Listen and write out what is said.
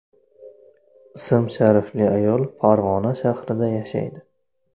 ism-sharifli ayol Farg‘ona shahrida yashaydi.